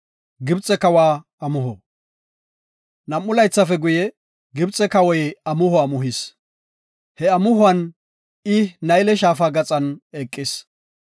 Nam7u laythafe guye, Gibxe Kawoy amuho amuhis. He amuhuwan I Nayle Shaafa gaxan eqis.